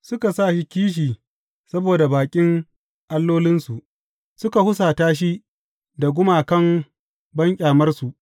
Suka sa shi kishi saboda baƙin allolinsu, suka husata shi da gumakan banƙyamarsu.